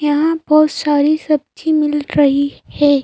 यहां बहुत सारी सब्जी मिल रही है।